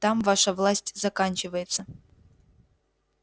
там ваша власть заканчивается